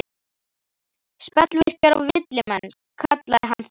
Spellvirkjar og villimenn, kallaði hann þær.